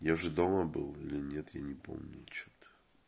я же дома был или нет я не помню ничего то